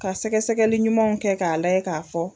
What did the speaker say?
Ka sɛgɛsɛgɛli ɲumanw kɛ k'a layɛ k'a fɔ.